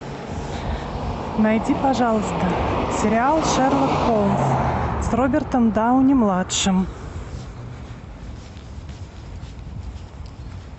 найди пожалуйста сериал шерлок холмс с робертом дауни младшим